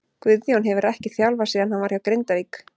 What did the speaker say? Guðjón hefur ekkert þjálfað síðan hann var hjá Grindavík.